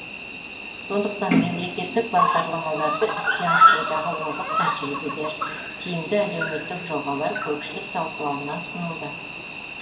сондықтан мемлекеттік бағдарламаларды іске асырудағы озық тәжірибелер тиімді әлеуметтік жобалар көпшілік талқылауына ұсынылды